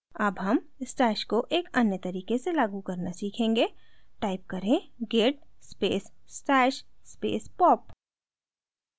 अब हम stash को एक अन्य तरीके से लागू करना सीखेंगे type करें: git space stash space pop